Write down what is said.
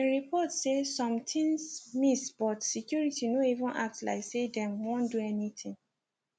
im report say some tins miss but security no even act like say dem wan do anything